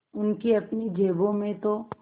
उनकी अपनी जेबों में तो